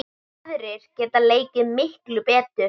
Aðrir geta leikið miklu betur.